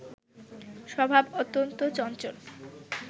স্বভাব অত্যন্ত চঞ্চল